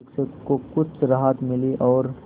शिक्षक को कुछ राहत मिली और